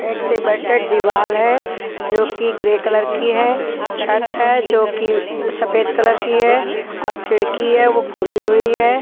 एक सीमेंटेड दीवाल है जोकि ग्रे कलर की है छत है जो कि सफेद कलर की है और खिड़की है वो खुली हुई है।